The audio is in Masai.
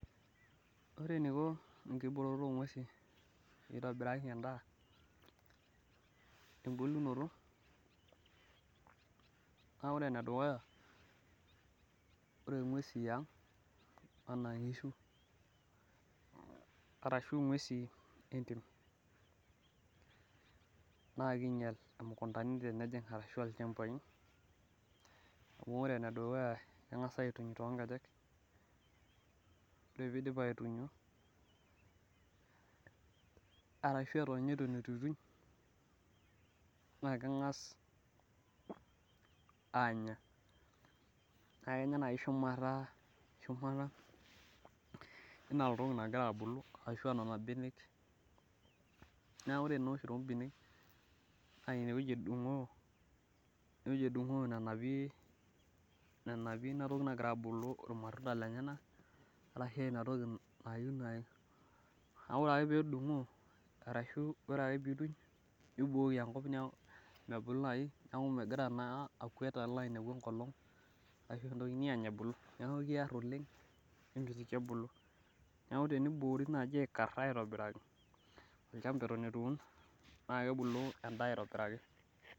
ore eniko enkibooroto oo ng'uesin peyie itobiraki edaa embulunoto, naa ore enedukuya naa ore inguesin yang naa kingial imukundani , ashu aa ilchambai, amu ore ene dukuya naa kengas aituny too inkejek, ore pee idip aitunyo ashu eton ninye etu ituny, naa keng'as aanya, naa kenya naaji shumata, enaa entoki nagira abulu, enaa nena benek, naa ineweji eduguu nanapie ilmatunda , naa ore ake pee ituj naa keer oleng misho ebulu neeku tenikari naaji naa ina esidai.